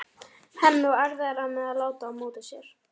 Hemmi á erfiðara með að láta á móti sér.